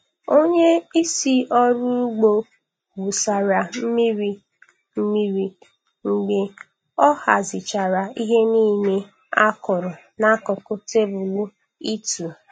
Onye isi ọrụ ugbo wụsara mmiri mmiri mgbe ọ hazichara ihe niile a kụrụ n'akụkụ tebụl ịtụ.